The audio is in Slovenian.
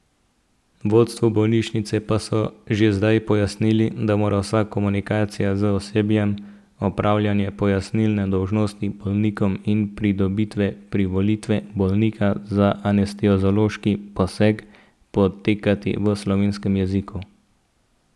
Vodstvu bolnišnice pa so že zdaj pojasnili, da mora vsa komunikacija z osebjem, opravljanje pojasnilne dolžnosti bolnikom in pridobitve privolitve bolnika za anesteziološki poseg, potekati v slovenskem jeziku.